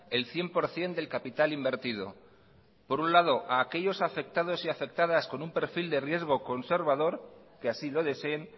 el cien por ciento del capital invertido por un lado a aquellos afectados y afectadas con un perfil de riesgo conservador que así lo deseen